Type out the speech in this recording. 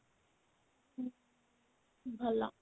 ଭଲ